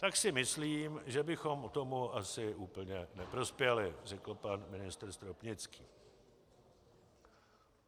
Tak si myslím, že bychom tomu asi úplně neprospěli, řekl pan ministr Stropnický.